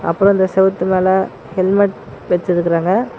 அப்பறோ அந்த செவுத்து மேல ஹெல்மெட் வெச்சுருக்கறாங்க.